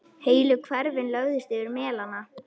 Heilu hverfin lögðust yfir melana.